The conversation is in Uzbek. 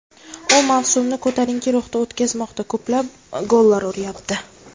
U mavsumni ko‘tarinki ruhda o‘tkazmoqda, ko‘plab gollar uryapti.